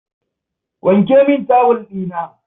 Wanke min tawul ɗina.